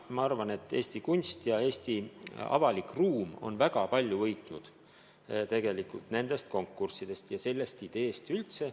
Ma arvan, et Eesti kunst ja Eesti avalik ruum on väga palju võitnud nendest konkurssidest ja sellest ideest üldse.